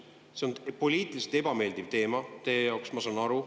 See on poliitiliselt ebameeldiv teema teie jaoks, ma saan aru.